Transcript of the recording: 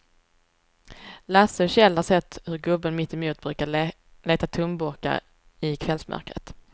Lasse och Kjell har sett hur gubben mittemot brukar leta tomburkar i kvällsmörkret.